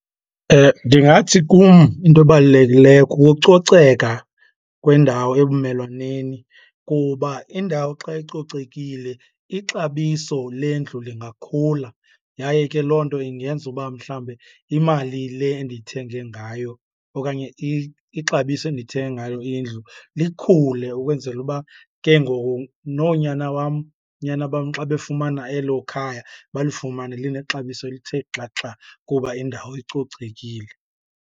Ndingathi kum into ebalulekileyo kukucoceka kwendawo ebumelwaneni kuba indawo xa icocekile ixabiso lendlu lingakhula. Yaye ke loo nto ingenza uba mhlawumbe imali le endiyithenge ngayo okanye ixabiso endiyithenge ngayo indlu likhule ukwenzela uba ke ngoku noonyana wam nyana bam xa befumana elo khaya balifumane linexabiso elithe xaxa kuba indawo icocekile.